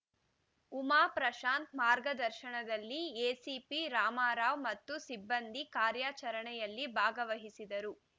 ಉಮಾ ಪ್ರಶಾಂತ್ ಮಾರ್ಗದರ್ಶನದಲ್ಲಿ ಎಸಿಪಿ ರಾಮರಾವ್ ಮತ್ತು ಸಿಬ್ಬಂದಿ ಕಾರ್ಯಾಚರಣೆಯಲ್ಲಿ ಭಾಗವಹಿಸಿದ್ದರು